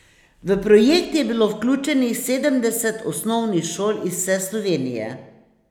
V projekt je bilo vključenih sedemdeset osnovnih šol iz vse Slovenije.